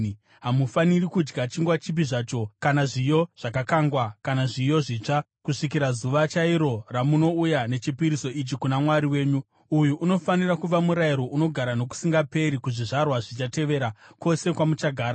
Hamufaniri kudya chingwa chipi zvacho, kana zviyo zvakakangwa, kana zviyo zvitsva, kusvikira zuva chairo ramunouya nechipiriso ichi kuna Mwari wenyu. Uyu unofanira kuva murayiro unogara nokusingaperi kuzvizvarwa zvichatevera, kwose kwamuchagara.